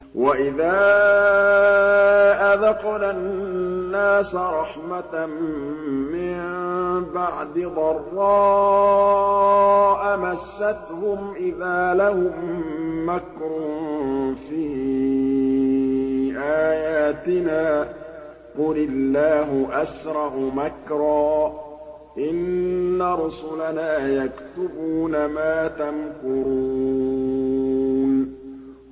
وَإِذَا أَذَقْنَا النَّاسَ رَحْمَةً مِّن بَعْدِ ضَرَّاءَ مَسَّتْهُمْ إِذَا لَهُم مَّكْرٌ فِي آيَاتِنَا ۚ قُلِ اللَّهُ أَسْرَعُ مَكْرًا ۚ إِنَّ رُسُلَنَا يَكْتُبُونَ مَا تَمْكُرُونَ